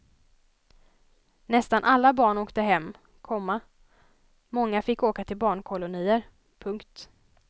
Nästan alla barn åkte hem, komma många fick åka till barnkolonier. punkt